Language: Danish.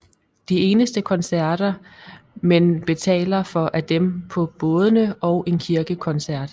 De eneste koncerter men betaler for er dem på bådene og en kirkekoncert